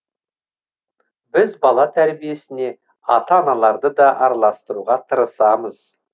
біз бала тәрбиесіне ата аналарды да араластыруға тырысамыз